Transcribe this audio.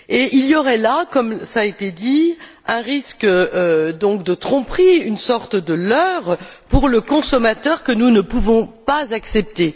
Il y aurait là, comme cela a été dit, un risque de tromperie, une sorte de leurre pour le consommateur que nous ne pouvons pas accepter.